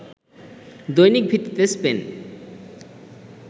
দৈনিক ভিত্তিতে স্পেন